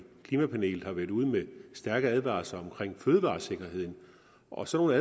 klimapanelet har været ude med stærke advarsler om fødevaresikkerheden og sådan